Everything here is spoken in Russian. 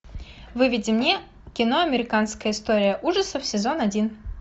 выведи мне кино американская история ужасов сезон один